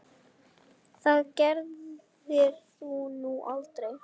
Það gerðir þú nú aldrei.